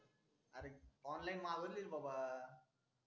online मागवली रे बाबा